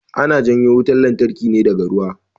Ana janyo wutan lantarki ne daga ruwa